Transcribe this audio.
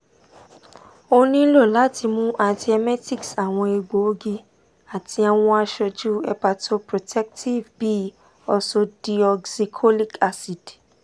o nilo lati mu antiemetics awọn egboogi ati awọn aṣoju hepatoprotective bi ursodeoxycholic acid